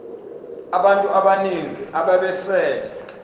abantu abaninzi ababesele